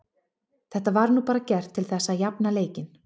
Þetta var nú bara gert til þess að jafna leikinn.